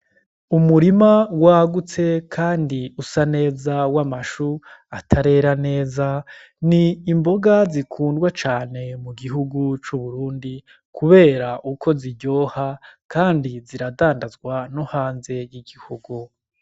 Umurima wagutse, kandi usa neza w' amashu atarera neza ni imboga zikundwa cane mu gihugu c'uburundi, kubera uko ziryoha, kandi ziradandazwa no hanze y'igihugu.